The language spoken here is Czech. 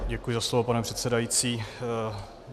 Děkuji za slovo, pane předsedající.